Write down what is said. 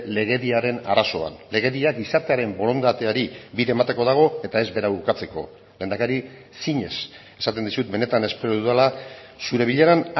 legediaren arazoan legedia gizartearen borondateari bide emateko dago eta ez bera ukatzeko lehendakari zinez esaten dizut benetan espero dudala zure bileran